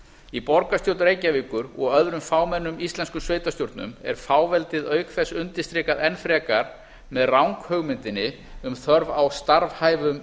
í borgarstjórn reykjavíkur og öðrum fámennum íslenskum sveitarstjórnum er fáveldið auk þess undirstrikað enn frekar með ranghugmyndinni um þörf á starfhæfum